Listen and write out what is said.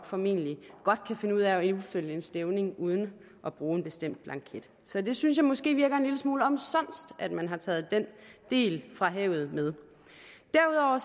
formentlig nok kan finde ud af at indsende en stævning uden at bruge en bestemt blanket så jeg synes måske det virker en lille smule omsonst at man har taget den del fra havet med derudover